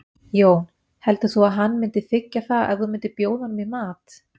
Jón: Heldur þú að hann myndi þiggja það ef þú myndir bjóða honum í mat?